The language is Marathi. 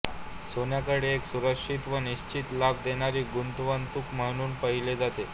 सोन्याकडे एक सुरक्षित व निश्चित लाभ देणारी गुंतवणूक म्हणून पाहिले जाते